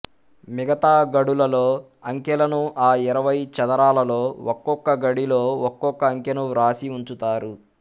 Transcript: మిగతా గడులలో అంకెలను ఆ ఇరవై చదరాలలో ఒక్కొక్క గడిలో ఒక్కొక్క అంకెను వ్రాసి ఉంచుతారు